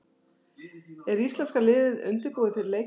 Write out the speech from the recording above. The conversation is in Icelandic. Er íslenska liðið undirbúið fyrir leikinn?